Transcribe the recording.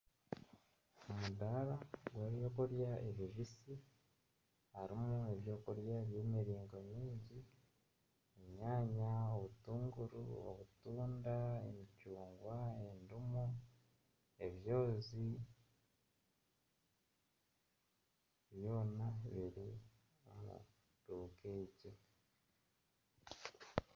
Omudaara gw'ebyokurya ebibisi hariho ebyokurya by'emiringo mingi, enyanya, obutunguru obutunda, emicungwa endimu, ebyozi, byona biri omu duuka egi